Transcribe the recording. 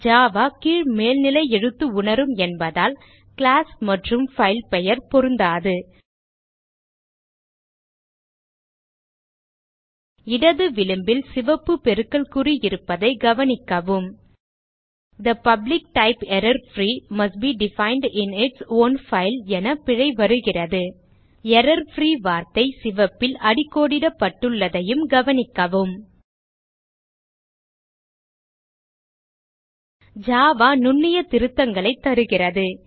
Java கீழ்மேல்நிலை எழுத்து உணரும் என்பதால் கிளாஸ் மற்றும் பைல் பெயர் பொருந்தாது இடது விளிம்பில் சிவப்பு பெருக்கல் குறி இருப்பதை கவனிக்கவும் the public type error free must be defined in its own file என பிழை வருகிறது எரர்ஃப்ரீ வார்த்தை சிவப்பில் அடிக்கோடிடப்பட்டுள்ளதையும் கவனிக்கவும் ஜாவா நுண்ணிய திருத்தங்களைத் தருகிறது